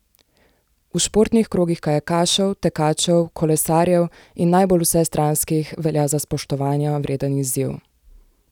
V športnih krogih kajakašev, tekačev, kolesarjev in najbolj vsestranskih velja za spoštovanja vreden izziv.